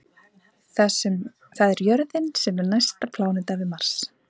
Það er jörðin sem er næsta pláneta við Mars.